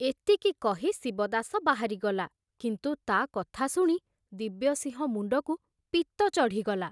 ଏତିକି କହି ଶିବଦାସ ବାହାରିଗଲା, କିନ୍ତୁ ତା କଥା ଶୁଣି ଦିବ୍ୟସିଂହ ମୁଣ୍ଡକୁ ପିତ୍ତ ଚଢ଼ିଗଲା।